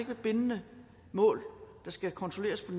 ved bindende mål der skal kontrolleres på